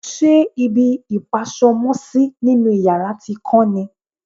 ṣe ibi ìpa aṣọ mọ́sí nínú yàrá ti kán ni?